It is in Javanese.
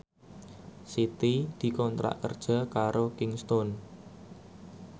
Siti dikontrak kerja karo Kingston